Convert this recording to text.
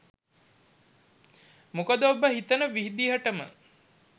මොකද ඔබ හිතන විදිහටම